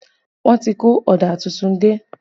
Wọ́n ti kó ọ̀dà tuntun dé